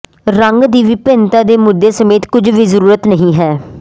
ਰੰਗ ਦੀ ਵਿਭਿੰਨਤਾ ਦੇ ਮੁੱਦੇ ਸਮੇਤ ਕੁਝ ਵੀ ਜ਼ਰੂਰਤ ਨਹੀਂ ਹੈ